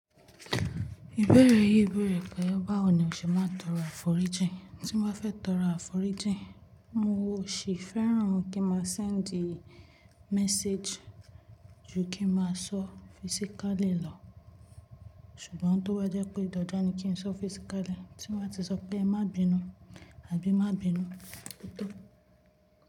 Ìbéèrè yìí bèèrè pé báwo ni o ṣe máa ń tọrọ àforíjìn? Tí mo bá fẹ́ tọrọ àforíjìn, n ò sí fẹ́ràn kí n máa send message ju kí n máa sọ physically lọ, ṣùgbọ́n tó bá jẹ́ pé dandan ni kí n sọ physically, tí mo bá ti sọ pé e má bínú àbí má bínú, o tó.